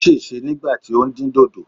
Ó sèse nígbà tí ó ń dín dòdò.